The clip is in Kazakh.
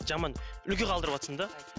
жаман үлгі қалдырыватсың да